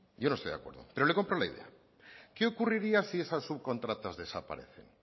yo no estoy de acuerdo pero le compro la idea qué ocurriría si esas subcontratas desaparecen